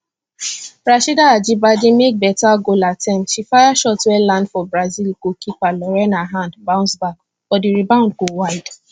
rasheedat ajibade make beta goal attempt she fire shot wey land for brazil goalkeeper lorena hand bounce back but di rebound go wide